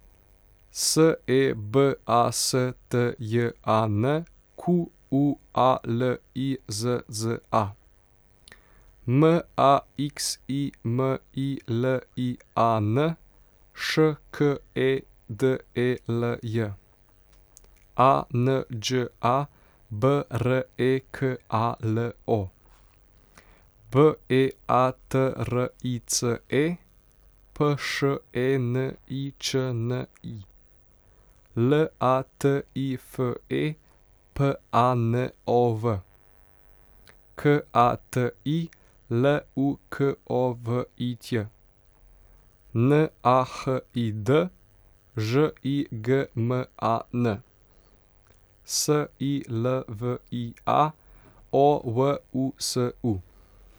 S E B A S T J A N, Q U A L I Z Z A; M A X I M I L I A N, Š K E D E L J; A N Đ A, B R E K A L O; B E A T R I C E, P Š E N I Č N I; L A T I F E, P A N O V; K A T I, L U K O V I Ć; N A H I D, Ž I G M A N; S I L V I A, O W U S U.